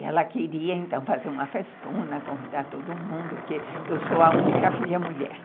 E ela queria, então, fazer uma festona, convidar todo mundo, porque eu sou a única filha mulher.